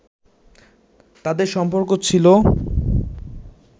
তাঁদের সম্পর্ক ছিল